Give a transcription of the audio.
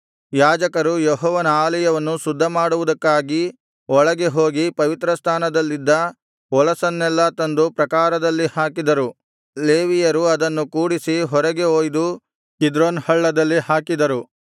ಯಾಜಕರು ಯೆಹೋವನ ಆಲಯವನ್ನು ಶುದ್ಧಮಾಡುವುದಕ್ಕಾಗಿ ಒಳಗೆ ಹೋಗಿ ಪವಿತ್ರಸ್ಥಾನದಲ್ಲಿದ್ದ ಹೊಲಸನ್ನೆಲ್ಲಾ ತಂದು ಪ್ರಾಕಾರದಲ್ಲಿ ಹಾಕಿದರು ಲೇವಿಯರು ಅದನ್ನು ಕೂಡಿಸಿ ಹೊರಗೆ ಒಯ್ದು ಕಿದ್ರೋನ್ ಹಳ್ಳದಲ್ಲಿ ಹಾಕಿದರು